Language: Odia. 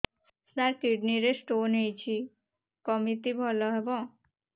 ସାର କିଡ଼ନୀ ରେ ସ୍ଟୋନ୍ ହେଇଛି କମିତି ଭଲ ହେବ